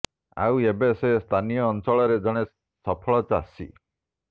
ଆଉ ଏବେ ସେ ସ୍ଥାନୀୟ ଅଂଚଳରେ ଜଣେ ସଫଳ ଚାଷୀ